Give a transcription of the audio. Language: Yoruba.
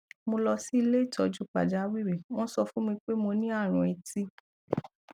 mo lọ sí ilé ìtọjú pàjáwìrì wọn sọ fún mi pé mo ní àrùn etí